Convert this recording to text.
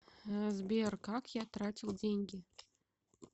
сбер как я тратил деньги